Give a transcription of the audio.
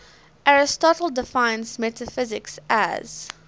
aristotle defines metaphysics as